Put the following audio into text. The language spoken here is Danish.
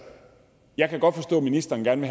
jeg kan godt forstå at ministeren gerne